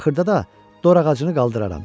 Axırda da dora ağacını qaldıraram.